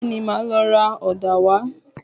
Bẹ́ẹ̀ni, màá lọ ra ọ̀dà wá